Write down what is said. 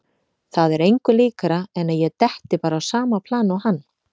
Það er engu líkara en að ég detti bara á sama plan og hann.